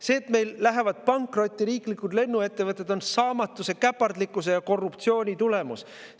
See, et meil lähevad pankrotti riiklikud lennuettevõtted, on saamatuse, käpardlikkuse ja korruptsiooni tulemus.